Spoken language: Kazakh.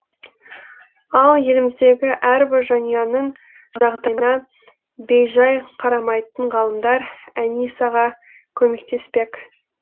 ал еліміздегі әрбір жанұяның жағдайына бейжай қарамайтын ғалымдар әнисаға көмектеспек